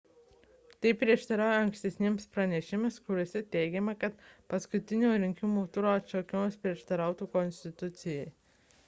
tai prieštarauja ankstesniems pranešimams kuriuose teigiama kad paskutinio rinkimų turo atšaukimas prieštarautų konstitucijai